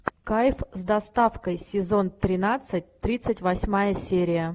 кайф с доставкой сезон тринадцать тридцать восьмая серия